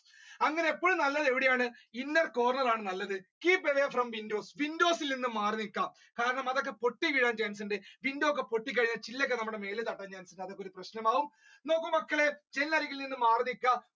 അങ്ങനെ എപ്പഴും നല്ലത് എവിടെയാണോ inner corner ആണ് നല്ലത് keep away from windows, windows ൽ നിന്നും മാറി നിക്കാകാരണം അതൊക്കെ പൊട്ടി വീഴാൻ chance ഉണ്ട് window ഒക്കെ പൊട്ടിക്കഴിഞ്ഞാൽ ചില്ലൊക്കെ നമ്മുടെ മേലിൽ തട്ടാൻ chance ഉണ്ട് അതൊക്കൊരു പ്രശ്നം ആവും നോക്കൂ മക്കളേ ജനലരികിൽനിന്നും മാറി നിക്കാ.